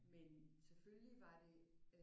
Men selvfølgelig var det